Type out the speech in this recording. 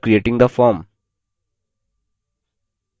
पहला work with the form